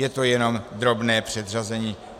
Je to jenom drobné předřazení.